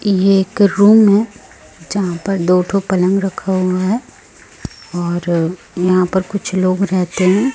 ये एक रूम है जहां पर दो ठो पलंग रखा हुआ हैं और यहां पर कुछ लोग रहते है।